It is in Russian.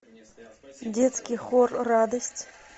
детский хор радость